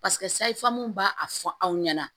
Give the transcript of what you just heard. Paseke sayifamu b'a a fɔ aw ɲɛna